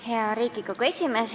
Hea Riigikogu esimees!